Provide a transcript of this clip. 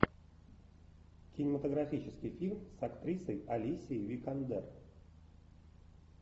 кинематографический фильм с актрисой алисией викандер